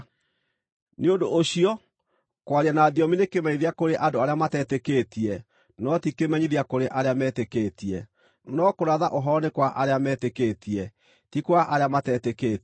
Nĩ ũndũ ũcio, kwaria na thiomi nĩ kĩmenyithia kũrĩ andũ arĩa matetĩkĩtie no ti kĩmenyithia kũrĩ arĩa metĩkĩtie; no kũratha ũhoro nĩ kwa arĩa metĩkĩtie, ti kwa arĩa matetĩkĩtie.